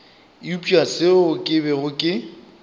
eupša seo ke bego ke